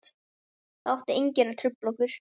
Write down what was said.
Það átti enginn að trufla okkur.